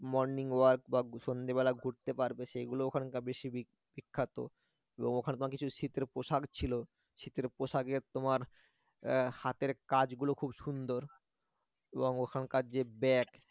morning walk বা সন্ধ্যেবেলা ঘুরতে পারবে সেগুলো ওখানকার বেশি বিখ্যাত এবং ওখানে তোমার কিছু শীতের পোশাক ছিল শীতের পোশাকে তোমার আহ হাতের কাজ গলো খুব সুন্দর এবং ওখানকার যে ব্যাগ